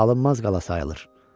Alınmaz qala sayılır.